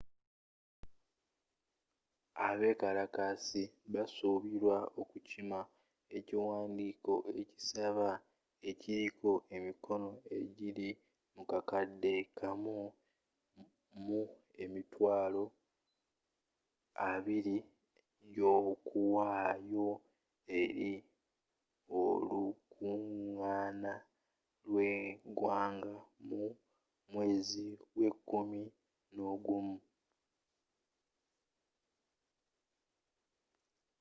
abekalakasi basuubira okukima ekiwandiiko ekisaba ekiliko emikono ejili mu kakade kamu mu emitwalo abili egyokuwaayo eri olukungaana lw'egwanga mu mweezi gw'ekumi nogumu